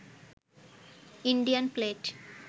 Indian plate